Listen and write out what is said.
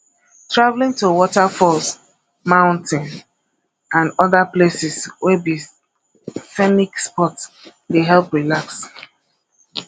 travelling to waterfalls mountain and oda places wey be scenic spot dey help relax